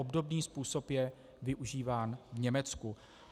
Obdobný způsob je využíván v Německu.